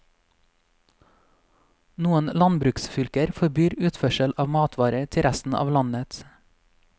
Noen landbruksfylker forbyr utførsel av matvarer til resten av landet.